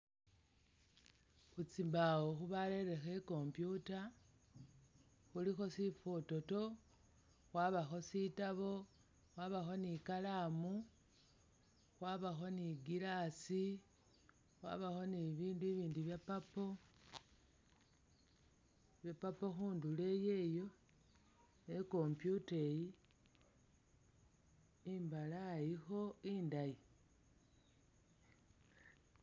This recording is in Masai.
Tsimbawo barerekho i'computer, khulikho sifototo, khwabakho sitabu, khwabakho ni'kalamu, khwabakho ni'glass, khwabakho ni bibindu bibindi bya' purple bya' purple khundulo iyeyo ne i'computer iyi imbalayikho indaayi